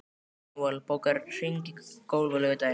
Manuel, bókaðu hring í golf á laugardaginn.